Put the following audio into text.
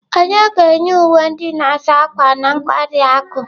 Onye ga-enye uwe ndị a na-asa ákwà na nkwari akụ?